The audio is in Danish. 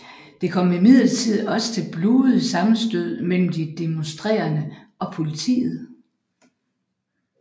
Det kom imidlertid også til blodige sammenstød mellem de demonstrerende og politiet